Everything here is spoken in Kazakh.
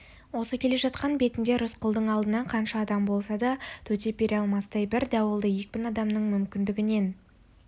осы келе жатқан бетінде рысқұлдың алдында қанша адам болса да төтеп бере алмастай бір дауылды екпін адамның мүмкіндігінен